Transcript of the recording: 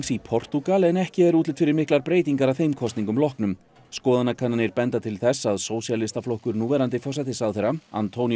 í Portúgal en ekki er útlit fyrir miklar breytingar að þeim kosningum loknum skoðanakannanir benda til þess að Sósíalistaflokkur núverandi forsætisráðherra